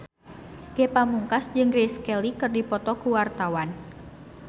Ge Pamungkas jeung Grace Kelly keur dipoto ku wartawan